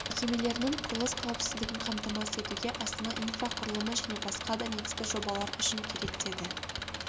мекемелерінің құрылыс қауіпсіздігін қамтамасыз етуге астана инфрақұрылымы және басқа да негізгі жобалар үшін керек деді